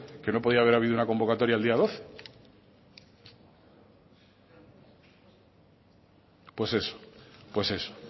que no podía haber habido una convocatoria el día doce pues eso pues eso